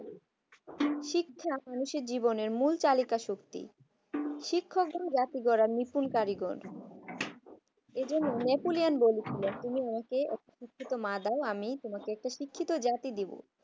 শিক্ষা মানুষের জীবনের মূল চালিকাশক্তি শিক্ষকরা জাতি গড়ার নিপুণ কারিগর এজন্য নেপোলিয়ন বলেছিলেন তিনি নাকি আমাকে একটা শিক্ষিত মা দাও আমি তোমায় একটা শিক্ষিত জাতি দেব